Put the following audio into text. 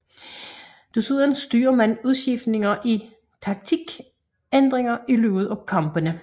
Desuden styrer man udskiftninger og taktikændringer i løbet af kampene